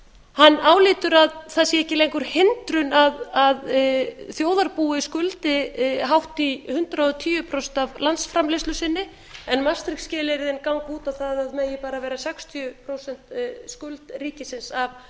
hann álítur að það sé ekki lengur hindrun að þjóðarbúið skuldi hátt í hundrað og tíu prósent af landsframleiðslu sinni en maastricht skilyrðin gagna út á það að það megi bara vera sextíu prósent skuld ríkisins af